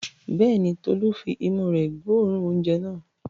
Bẹ́ẹ̀ ni, Tolú fi imú rẹ̀ gbóòórùn oúnjẹ náà.